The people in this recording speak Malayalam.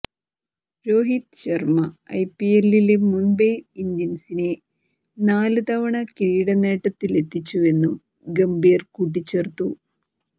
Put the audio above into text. രോഹിത് ശര്മ്മ ഐ പി എല്ലില് മുംബൈ ഇന്ത്യന്സിനെ നാല് തവണ കിരീടനേട്ടത്തിലെത്തിച്ചുവെന്നും ഗംഭീർ കൂട്ടിച്ചേർത്തു